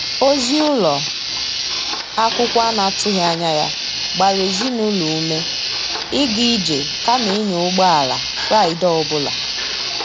Ozi ụlọ akwụkwọ a na-atụghị anya ya gbara ezinụlọ ume ịga ije kama ịnya ụgbọ ala Fraịde ọ bụla.